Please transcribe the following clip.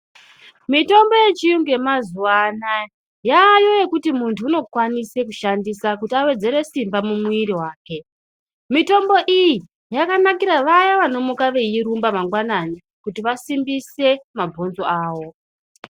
Mitombo yechiyungu yemazuwa anaya yayo yekuti munhu unokawnise kushandisa kuti awedzere simba mumwiri wake mitombo iyi yakankira vaya vanomukira veirumba mangwanani kuti vasimbise mabhonzo awo.